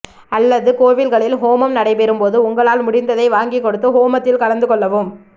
அல்லது கோவில்களில் ஹோமம் நடைபெறும் போது உங்களால் முடிந்ததை வாங்கிக்கொடுத்து ஹோமத்தில் கலந்து கொள்ளவும்